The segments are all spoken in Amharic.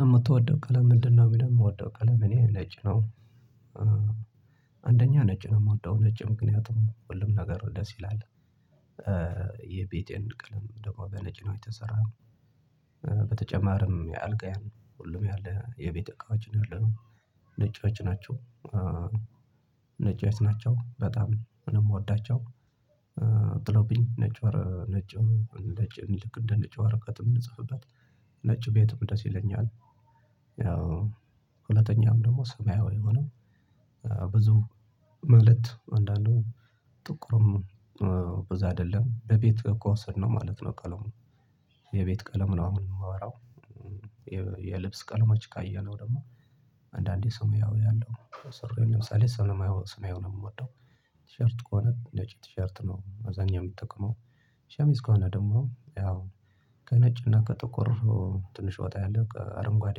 የምትወደው ቀለም ምንድነው ነው የሚለው የምወደው ቀለም እኔ ነጭ ነው አንደኛ ነጭ ነው የምወደው ነጭ ምክንያቱም ሁሉም ነገር ደስ ይላል የቤቴን ቀለም ደግሞ በነጭ ነው የተሰራው በተጨማሪም የአጋየም ነው ሁሉም ያለ የቤተ እቃዎችን ያለው ነጫጭ ናቸው ነጮች ናቸው በጣም ምንም ምወዳቸው ነጭ ወር ነጭ ነጭ ልክ እንደ ነጭ ወርቀት የምንጽፍበት ነጭ ቤትም ደስ ይለኛል ያው ሁለተኛም ደግሞ ሰማያዊ የሆነ ብዙ መልእክት አንዳንዶቹ ጥቁርም ብዙ አይደለም በቤት ከውሰድነው ማለት ነው ቀለሙ የቤት ቀለም ነው አሁን የማወራው የልብስ ቀለሞች ካየነው ደግሞ አንዳንዴ ሰማያዊ ያለው ሱሪ ለምሳሌ ሰማያ ሰማያዊ ነው የምወደው። ቲሸርት ከሆነ ነጭ ቲሸርት ነው በአብዛኛው የምጠቀመው። ሸሚስ ከሆነ ደግሞ ያው ከነጭና ከጥቁር ትንሽ ወጣ ያለ ከአረንጓዴ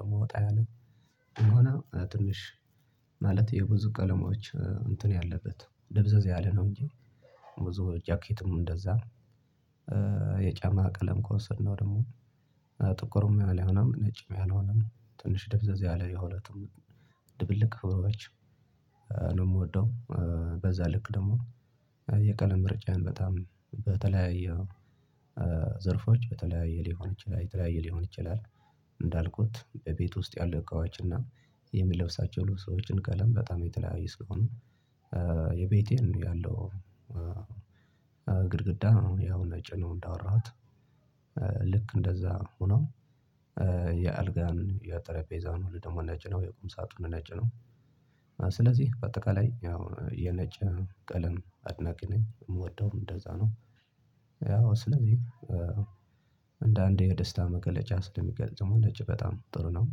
ደግሞ ወጣ ያለው እንደሆነ ትንሽ ማለት የብዙ ቀለሞች እንትን ያለበት ድብዝዝ ያለ ነው እንጂ ብዙ ጃኬትም እንደዛ የጫማ ቀለም ከወሰድነው ደግሞ ጥቁርም ያልሆነ ነጭም ያልሆነም ትንሽ ደብዛዝ ያለ የሁለቱም ድብልቅ ከለሮች ነው የምወደው በዛ ልክ ደግሞ የቀለም ምርጫዬን በጣም በተለያየ ዘርፎች በተለያየ ሊሆን ይችላል የተለያየ ሊሆን ይችላል። እንዳልኩት በቤት ውስጥ ያለ እቃዎችና የምለብሳቸው ልብሶችን ቀለም በጣም የተለያየ ሲሆን የቤቴን ያለው ግድግዳ ነው ያው ነጭ ነው እንዳወራሁት ልክ እንደዛ ሆኖ የአልጋን የጠረጴዛን ወደ ደግሞ ነጭ ነው የቁም ሳጥኑ ነጭ ነው። ስለዚህ በአጠቃላይ ያው የነጭ ቀለም አድናቂ ነኝ የምወደውም እንደዛ ነው። ያው ስለዚህ እንደ አንድ የደስታ መገለጫ ስለምገልጸው ነጭ በጣም ጥሩ ነው።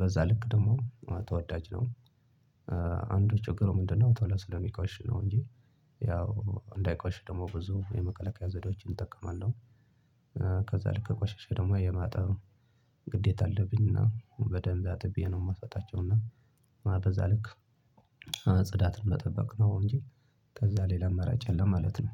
በዛ ልክ ደግሞ ተወዳጅ ነው። አንዱ ችግሩ ምንድነው ቶሎ ስለሚቆሽ ነው እንጂ ያው እንዳይቆሽ ደግሞ ብዙ የመከላከያ ዘዴዎችን እጠቀማለሁ። ከዛ ልክ ከቆሸሸ ደግሞ የማጠብ ግዴታ አለብኝና በደንብ አጥቤ ነው የማሳጣቸው እና በዛ ልክ ጽዳትን መጠበቅ ነው፤ እንጂ ከዛ ሌላ አማራጭ የለም ማለት ነው።